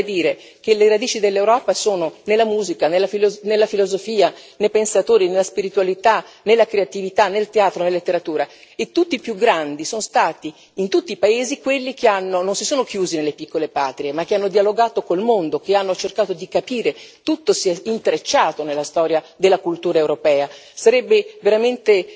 Poi vorrei dire che le radici dell'Europa sono nella musica, nella filosofia, nei pensatori, nella spiritualità, nella creatività, nel teatro, nella letteratura e tutti i più grandi sono stati in tutti i paesi quelli che non si sono chiusi nelle piccole patrie, ma che hanno dialogato con il mondo, che hanno cercato di capire, tutto si è intrecciato nella storia della cultura europea, sarebbe veramente